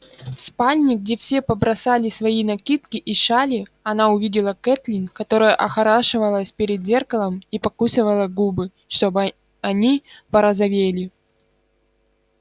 в спальне где все побросали свои накидки и шали она увидела кэтлин которая охорашивалась перед зеркалом и покусывала губы чтобы они порозовели